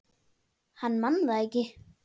Hann man það ekki.